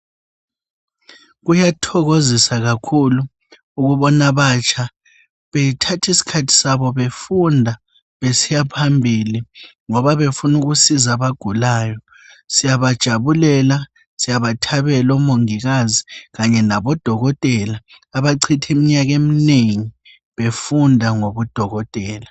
Kuyathokozisa kakhulu ukubona abatsha bethatha isikhathi sabo befunda besiya phambili ngoba befuna ukusiza abagulayo siyakujabulela siyabathabela omongikazi kanye labodokotela abacitha iminyaka eminengi befunda ngobudokotela.